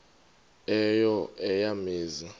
eyo eya mizi